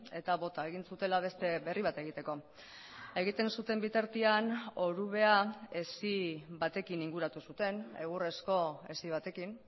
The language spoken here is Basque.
eta bota egin zutela beste berri bat egiteko egiten zuten bitartean orubea hesi batekin inguratu zuten egurrezko hesi batekin